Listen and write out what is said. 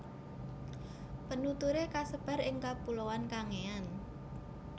Penuturé kasebar ing kapuloan Kangean